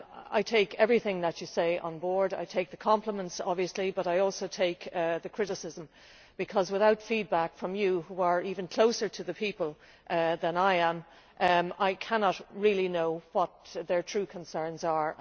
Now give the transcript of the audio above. I take everything that you say on board. I take the compliments, obviously, but I also take the criticism because, without feedback from you, who are even closer to the people than I am, I cannot really know what their true concerns are.